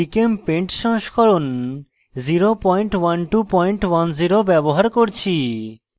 gchempaint সংস্করণ 01210 ব্যবহার করছি